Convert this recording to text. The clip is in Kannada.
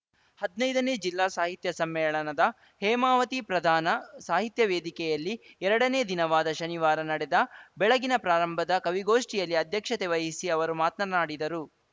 ಹದ್ನೈದನೇ ಜಿಲ್ಲಾ ಸಾಹಿತ್ಯ ಸಮ್ಮೇಳನದ ಹೇಮಾವತಿ ಪ್ರಧಾನ ಸಾಹಿತ್ಯ ವೇದಿಕೆಯಲ್ಲಿ ಎರಡನೇ ದಿನವಾದ ಶನಿವಾರ ನಡೆದ ಬೆಳಗಿನ ಪ್ರಾರಂಭದ ಕವಿಗೋಷ್ಠಿಯಲ್ಲಿ ಅಧ್ಯಕ್ಷತೆ ವಹಿಸಿ ಅವರು ಮಾತನಾಡಿದರು